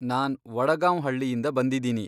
ನಾನ್ ವಡಗಾಂವ್ ಹಳ್ಳಿಯಿಂದ ಬಂದಿದೀನಿ.